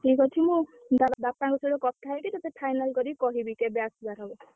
ଠିକ୍ ଅଛି। ମୁଁ ତାର ବାପାଙ୍କ ସହ କଥା ହେଇକି ତତେ final କରିକି କହିବି କେବେ ଆସିବା ହବ।